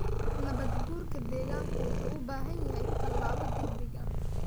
Nabaad-guurka deegaanku wuxuu u baahan yahay tallaabo degdeg ah.